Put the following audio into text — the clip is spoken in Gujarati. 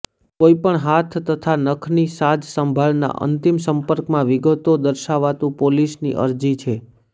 કોઈપણ હાથ તથા નખની સાજસંભાળ ના અંતિમ સંપર્કમાં વિગતો દર્શાવતું પોલિશ ની અરજી છે